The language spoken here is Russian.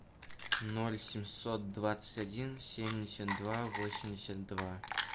ноль семьсот двадцать один семьдесят два восемьдесят два